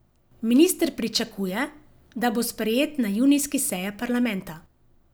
Minister pričakuje, da bo sprejet na junijski seji parlamenta.